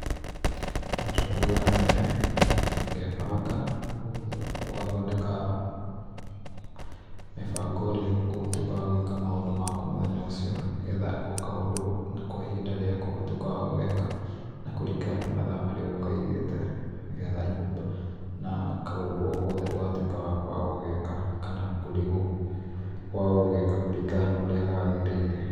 Njũkagĩra tene, ngebanga ũgathondeka mĩbango ũrĩa ũgũtwĩka wa gwĩka maũndũ maku makũ mũthenya ũcio, nĩgetha o kaũndũ ihinda rĩako ũgatuĩka wa gũgeka na kũringana na mathaa marĩa ũgũkaigĩte nĩgetha nyũmba na kaũndũ o gothe ndũgatũĩke wa kwaga gũgeka kana kũrigwo kwaga gũgeka kũringana no ũrĩa gagĩrĩire.